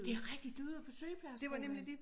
Det rigtigt du ude på sygeplejeskolen